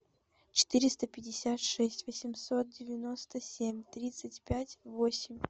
четыреста пятьдесят шесть восемьсот девяносто семь тридцать пять восемь